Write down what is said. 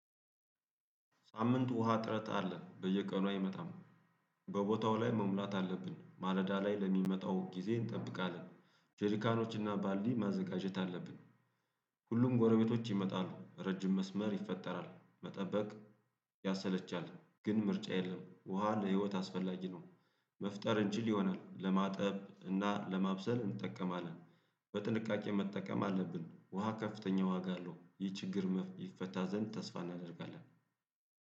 ሳምንት ውሃ አጥረት አለ በየቀኑ አይመጣም። በቦታው ላይ መሙላት አለብን ማለዳ ላይ ለሚመጣው ጊዜ እንጠብቃለንደ ጄሪካኖችና ባልዲ ማዘጋጀት አለብን። ሁሉም ጎረቤቶች ይመጣሉ ረጅም መስመር ይፈጠራል መጠበቅ ያሰለቻል ግን ምርጫ የለም ውሃ ለህይወት አስፈላጊ ነው። መፍጠር እንችል ይሆናል ለማጠብ እና ለማብሰል እንጠቀማለን። በጥንቃቄ መጠቀም አለብን ውሃ ከፍተኛ ዋጋ አለው ይህ ችግር ይፈታ ዘንድ ተስፋ እናደርጋለን።